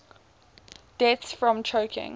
deaths from choking